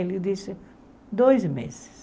Ele disse, dois meses.